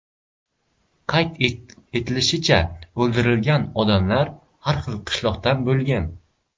Qayd etilishicha, o‘ldirilgan odamlar har xil qishloqlardan bo‘lgan.